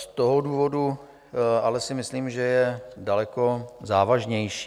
Z toho důvodu si ale myslím, že je daleko závažnější.